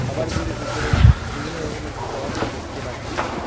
খাবারগুলি উপরে বিভিন্ন রকমের সস দেখতে পাচ্ছি।